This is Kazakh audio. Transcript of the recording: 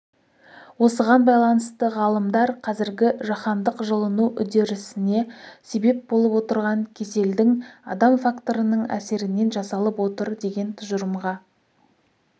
осыған байланысты ғалымдар қазіргі жаһандық жылыну үдерісіне себеп болып отырған кеселдің адам факторының әсерінен жасалып отыр деген тұжырымға